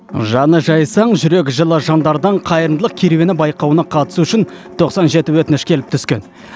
жаны жайсаң жүрегі жылы жандардан қайырымдылық керуені байқауына қатысу үшін тоқсан жеті өтініш келіп түскен